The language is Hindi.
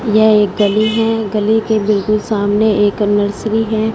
यह एक गली है गली के बिल्कुल सामने एक नर्सरी है।